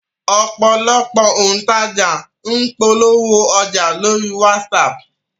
Ọ̀pọ̀lọpọ̀ òǹtajà ní ń polówó ọjà lórí WhatsApp